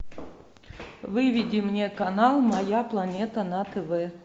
выведи мне канал моя планета на тв